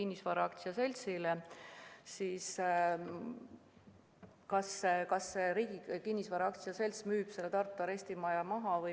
Nii Tartu arestimaja kui ka Jõhvi arestimaja kuuluvad Riigi Kinnisvara Aktsiaseltsile.